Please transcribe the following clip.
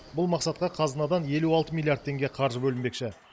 бұл мақсатқа қазынадан елу алты миллиард теңге қаржы бөлінбекші